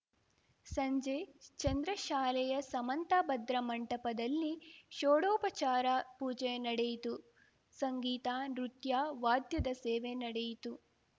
ಸಂಜೆ ಚಂದ್ರಶಾಲೆಯ ಸಮಂತಭದ್ರ ಮಂಟಪದಲ್ಲಿ ಶೋಡೋಪಚಾರ ಪೂಜೆ ನಡೆಯಿತು ಸಂಗೀತ ನೃತ್ಯ ವಾದ್ಯದ ಸೇವೆ ನಡೆಯಿತು